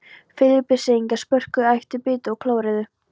Filippseyingar, spörkuðu, æptu, bitu og klóruðu.